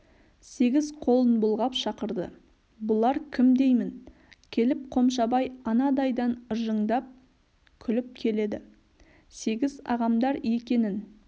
сегіз қолын бұлғап шақырды бұлар кім деймін келіп қомшабай анадайдан ыржыңдап күліп келеді сегіз ағамдар екенін